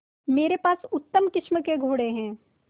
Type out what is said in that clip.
मेरे पास उत्तम किस्म के घोड़े हैं